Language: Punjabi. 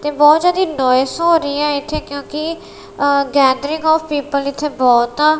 ਤੇ ਬਹੁਤ ਜ਼ਿਆਦੀ ਨੋਇਸ ਹੋ ਰਹੀ ਐ ਇੱਥੇ ਕਿਉਂਕਿ ਅ ਗੈਦਰਿੰਗ ਆਫ ਪੀਪਲ ਇੱਥੇ ਬਹੁਤ ਆ।